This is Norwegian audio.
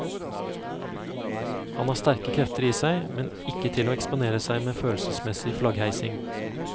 Han har sterke krefter i seg, men ikke til å eksponere seg med følelsesmessig flaggheising.